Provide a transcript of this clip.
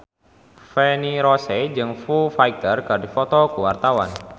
Feni Rose jeung Foo Fighter keur dipoto ku wartawan